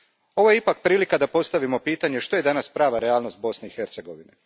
Ovo je ipak prilika da postavimo pitanje što je danas prava realnost Bosne i Hercegovine?